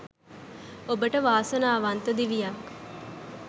ඔබට වාසනාවන්ත දිවියක්